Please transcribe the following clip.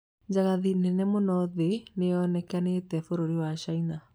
Njagathi nene muno thĩ nĩyonekanĩti bũrũri wa Caina